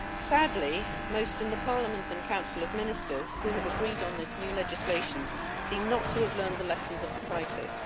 Sadly, most in the Parliament and Council of Ministers who have agreed on this new legislation seem not to have learned the lessons of the crisis.